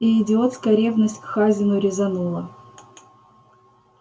и идиотская ревность к хазину резанула